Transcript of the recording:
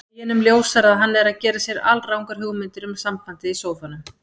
Deginum ljósara að hann er að gera sér alrangar hugmyndir um sambandið í sófanum.